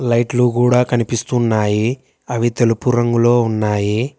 లైట్లు గూడ కనిపిస్తున్నాయి అవి తెలుపు రంగులో ఉన్నాయి.